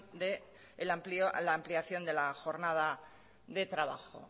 de la ampliación de la jornada de trabajo